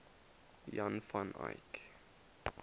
jan van eyck